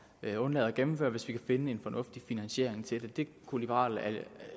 at undlade at gennemføre hvis vi kan finde en fornuftig finansiering til det det kunne liberal